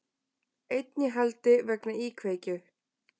Einn í haldi vegna íkveikju